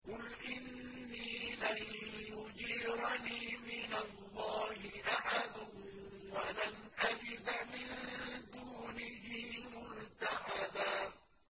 قُلْ إِنِّي لَن يُجِيرَنِي مِنَ اللَّهِ أَحَدٌ وَلَنْ أَجِدَ مِن دُونِهِ مُلْتَحَدًا